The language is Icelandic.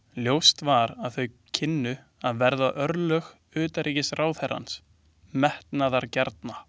Ljóst var að þau kynnu að verða örlög utanríkisráðherrans metnaðargjarna.